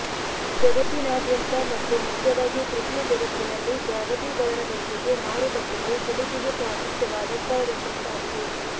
ಜಗತ್ತಿನಾದ್ಯಂತ ಮತ್ತು ಮುಖ್ಯವಾಗಿ ತೃತೀಯ ಜಗತ್ತಿನಲ್ಲಿ ಜಾಗತೀಕರಣದೊಂದಿಗೆ ಮಾರುಕಟ್ಟೆಯು ಸುಲಿಗೆಗೆ ಪ್ರಾಶಸ್ತ್ಯವಾದ ಸ್ಥಳವೆಂಬತಾಗಿದೆ